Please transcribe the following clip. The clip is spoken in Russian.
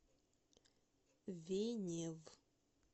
венев